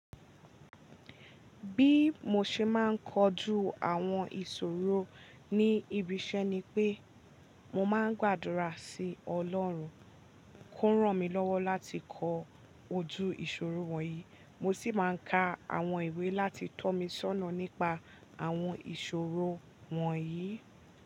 Bí mo ṣe máa ń kojú àwọn ìṣòro ni ibi iṣẹ́ ni pé mo máa ń gbàdúrà sí Ọlọ́run kó ràn mí lọ́wọ́ láti kọ ojú ìṣòro wọ̀nyí. Mo sì máa ń ka àwọn ìwé láti tọ́ mí sọ́nà nípa àwọn ìṣòro wọ̀nyí.